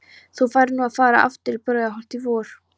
Þú færð nú að fara aftur í Brautarholt í vor.